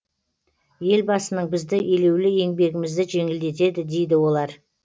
елбасының бізді елеулі еңбегімізді жеңілдетеді дейді олар